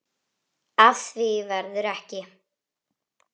Af því verður ekki.